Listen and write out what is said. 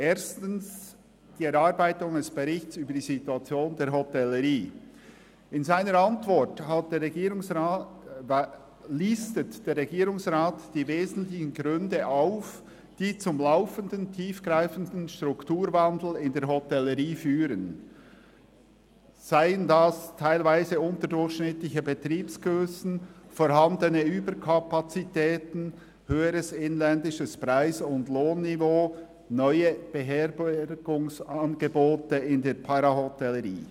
Erstens, die Erarbeitung eines Berichts über die Situation der Hotellerie: In seiner Antwort listet der Regierungsrat die wesentlichen Gründe auf, die zum laufendenden, tiefgreifenden Strukturwandel in der Hotellerie führen, seien das teilweise unterdurchschnittliche Betriebsgrössen, vorhandene Überkapazitäten, höheres inländisches Preis- und Lohnniveau oder seien es neue Beherbergungsangebote in der Parahotellerie.